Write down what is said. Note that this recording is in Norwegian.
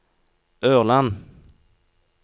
Ørland